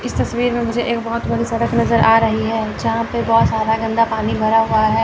इस तस्वीर में मुझे एक बहुत बड़ी सड़क नजर आ रही है यहां पे बहुत सारा गंदा पानी भरा हुआ है।